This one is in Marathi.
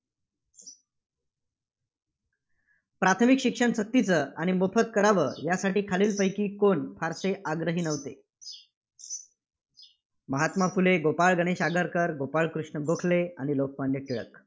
प्राथमिक शिक्षण सक्तीचं आणि मोफत करावं यासाठी खालीलपैकी कोण फारसे आग्रही नव्हते? महात्मा फुले, गोपाळ गणेश आगरकर, गोपाळकृष्ण गोखले आणि लोकमान्य टिळक.